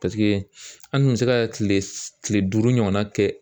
an dun bɛ se ka kile kile duuru ɲɔgɔnna kɛ